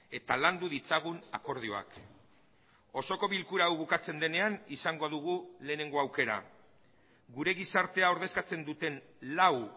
eta landu ditzagun akordioak osoko bilkura hau bukatzen denean izango dugu lehenengo aukera gure gizartea ordezkatzen duten lau